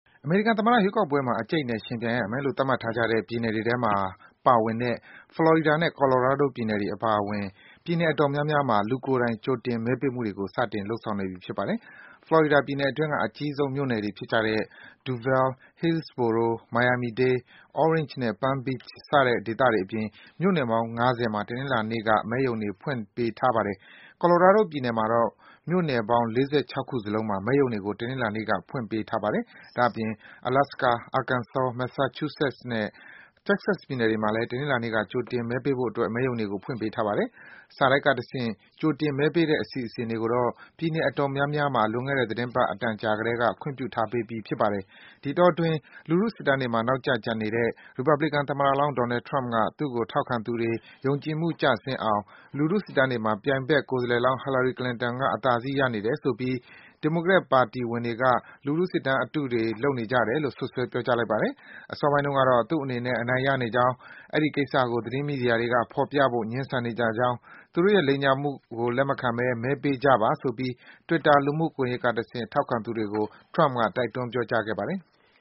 အမေရိကန်သမ္မတရွေးကောက်ပွဲမှာ အကြိတ်အနယ် ယှဉ်ပြိုင်ရမယ်လို့ သတ်မှတ်ထားကြတဲ့ ပြည်နယ်တွေထဲမှာ ပါဝင်တဲ့ Florida နဲ့ Colorado ပြည်နယ်တွေအပါအဝင် ပြည်နယ်အတော်များများမှာ လူကိုယ်တိုင် ကြိုတင်မဲပေးမှုတွေကို စတင် လုပ်ဆောင်နေပြီ ဖြစ်ပါတယ်။ Florida ပြည်နယ်အတွင်းက အကြီးဆုံးမြို့နယ်တွေဖြစ်ကြတဲ့ Duval ၊ Hillsborough ၊ Miami-Dade ၊ Orange နဲ့ Palm Beach စတဲ့ ဒေသတွေအပြင် မြို့နယ်ပေါင်း ၅၀ မှာ တနင်္လာနေ့က မဲရုံတွေ ဖွင့်ထားပေးပါမယ်။ Colorado ပြည်နယ်မှာတော့ မြို့နယ်ပေါင်း ၆၄ ခုစလုံးမှာ မဲရုံတွေကို တနင်္လာနေ့က ဖွင့်ထားပေးပါတယ်။ ဒါ့အပြင် Alaska ၊ Arkansas ၊ Masachusetts နဲ့ Texas ပြည်နယ်တွေမှာလည်း တနင်္လာနေ့က ကြိုတင်မဲပေးဖို့အတွက် မဲရုံတွေကို ဖွင့်ပေးထားပါတယ်။ စာတိုက်ကတဆင့် ကြိုတင် မဲပေးတဲ့အစီအစဉ်တွေကိုတော့ ပြည်နယ် အတော်များများမှာ လွန်ခဲ့တဲ့ သီတင်းပတ် အတန်ကြာကတည်းက ခွင့်ပြုထားပေးပြီး ဖြစ်ပါတယ်။ ဒီအတောအတွင်း လူထုစစ်တမ်းတွေမှာ နောက်ကျကျန်နေတဲ့ ရီပတ်ဘလီကန်သမ္မတလောင်း Donald Trump က သူ့ကို ထောက်ခံသူတွေ ယုံကြည်မှုကျဆင်းအောင် လူထု စစ်တမ်းတွေမှာ ပြိုင်ဖက် ကိုယ်စားလှယ်လောင်း Hillary Clinton က အသာစီး ရနေတယ်ဆိုပြီး ဒီမိုကရက်ပါတီဝင်တွေက လူထုစစ်တမ်း အတုတွေ လုပ်နေကြတယ်လို့ စွပ်စွဲ ပြောကြားလိုက်ပါတယ်။ အစောပိုင်းတုန်းကတော့ သူ့အနေနဲ့ အနိုင်ရနေကြောင်း၊ အဲဒီကိစ္စကို သတင်းမီဒီယာတွေက ဖော်ပြဖို့ ငြင်းဆန်နေကြကြောင်း၊ သူတို့ရဲ့ လိမ်ညာမှုကို လက်မခံပဲ မဲပေးကြပါဆိုပြီး Twitter လူမှုကွန်ယက်ကတဆင့် ထောက်ခံသူတွေကို တိုက်တွန်း ပြောကြားခဲ့ပါတယ်။